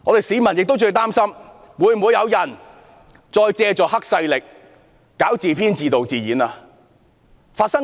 市民亦擔心會否有人再借助黑勢力來自編、自導、自演，之前已經發生過。